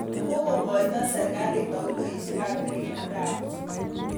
Kokoito serkaliit tauloisiek ap tililindo ap puch